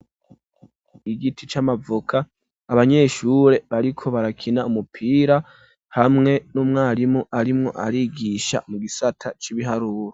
Igiti c'amavoka abanyeshure bariko barakina umupira, hamwe n'umwarimu arimwo arigisha mu gisata cy'ibiharuro.